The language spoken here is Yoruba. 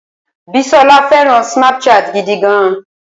Bísọ́lá fẹràn Snapchat gidi gan.